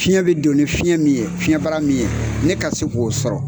Fiɲɛ be don ni fiɲɛ min ye, fiɲɛbara min ye, ne ka se k'o sɔrɔ.